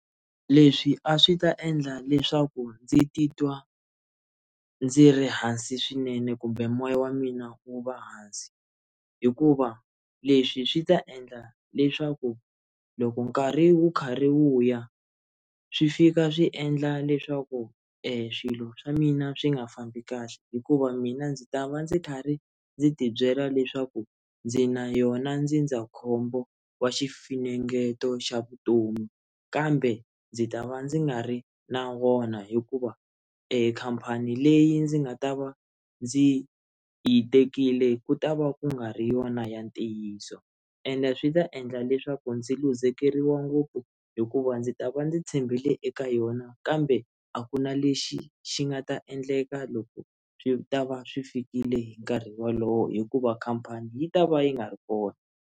Leswi a swi ta endla leswaku ndzi titwa ndzi ri hansi swinene kumbe moya wa mina wu va hansi hikuva leswi swi ta endla leswaku loko nkarhi wu karhi wu ya swi fika swi endla leswaku e swilo swa mina swi nga fambi kahle hikuva mina ndzi ta va ndzi karhi ndzi ti byela leswaku ndzi na yona ndzindzakhombo wa xifunengeto xa vutomi kambe ndzi ta va ndzi nga ri na wona hikuva ekhampani leyi ndzi nga ta va ndzi yi tekile ku ta va ku nga ri yona ya ntiyiso ende swi ta endla leswaku ndzi luzekeriwa ngopfu hikuva va ndzi ta va ndzi tshembele eka yona kambe a ku na lexi xi nga ta endleka loko swi ta va swi fikile hi nkarhi wolowo hikuva khampani yi ta va yi nga ri kona.